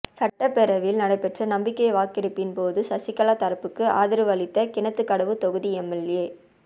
சட்டப்பேரவையில் நடைபெற்ற நம்பிக்கை வாக்கெடுப்பின் போது சசிகலா தரப்புக்கு ஆதரவு அளித்த கிணத்துக்கடவு தொகுதி எம்எல்ஏ